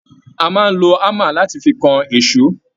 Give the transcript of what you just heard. A máa n ló hámà láti fí kàn èsó..